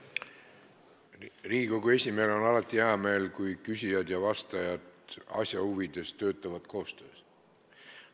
Riigikogu esimehel on alati hea meel, kui küsijad ja vastajad teevad asja huvides koostööd.